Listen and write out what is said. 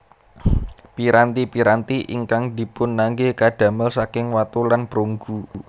Piranti piranti ingkang dipunangge kadamel saking watu lan prunggu